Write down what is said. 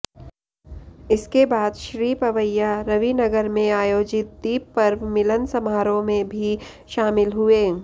इसके बाद श्री पवैया रविनगर में आयोजित दीप पर्व मिलन समारोह में भी शामिल हुए